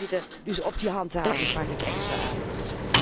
Voorzitter, dus voor die handhaving vraag ik extra aandacht.